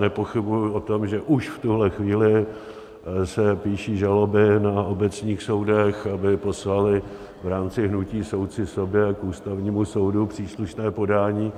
Nepochybuji o tom, že už v tuhle chvíli se píší žaloby na obecných soudech, aby poslaly v rámci hnutí Soudci sobě k Ústavnímu soudu příslušné podání,